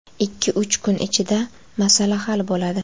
Ikki-uch kun ichida masala hal bo‘ladi.